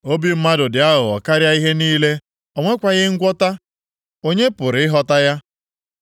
Obi mmadụ dị aghụghọ karịa ihe niile, o nwekwaghị ngwọta. Onye pụrụ ịghọta ya?